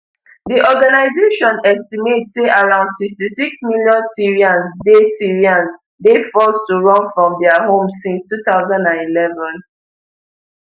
di organisation estimate say around sixty-six million syrians dey syrians dey forced to run from dia homes since two thousand and eleven